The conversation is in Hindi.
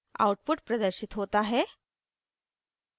output प्रदर्शित होता है